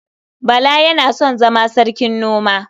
Bala yana son zama sarkin noma.